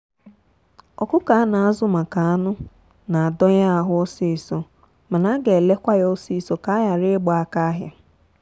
ọkụkọ a naazụ maka anụ na-adọ ye ahụ ọsịsọ mana a ga ele kwa ya ọsịsọ ka a ghara ịgba aka ahịa.